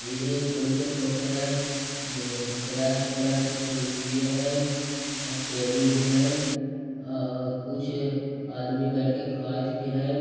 इही एक रूम के फोटो है जे ए तरह-तरह के कुर्सिये है और टेबुल भी है और कुछ आदमी बैठ के खायत भी रेहन ।